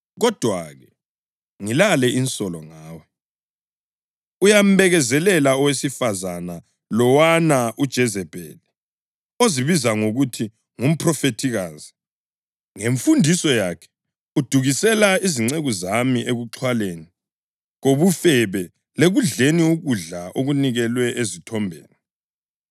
Kodwa-ke, ngilale insolo ngawe: Uyambekezelela owesifazane lowana uJezebheli, ozibiza ngokuthi ngumphrofethikazi. Ngemfundiso yakhe udukisela izinceku zami ekuxhwaleni kobufebe lekudleni ukudla okunikelwe ezithombeni.